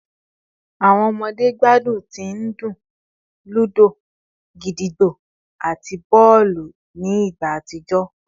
Awọn ọmọde gbadun ti ndun ludo, gídígbò, ati bọọlu ni igba atijọ